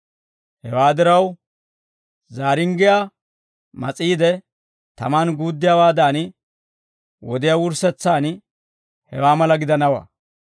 «Hewaa diraw, zaaringgiyaa mas'iide, tamaan guuddiyaawaadan, wodiyaa wurssetsaan hewaa mala gidanawaa.